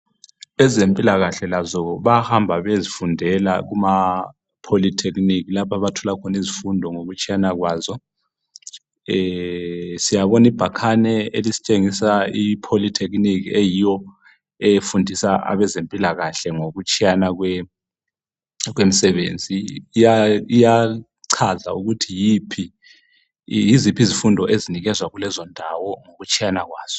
Ezempilakahle lazo bayahamba bayezifundela kuma polytechnic lapho abathola khona izifundo ngokutshiyana kwazo. Siyabona ibhakane elisitshengisa i polytechnic eyiyo efunda abezempilakahle ngokutshiyana kwemisebenzi, liyachaza ukuthi yiziphi izifundo ezinikezwa kulezondawo ngokutshiyana kwazo.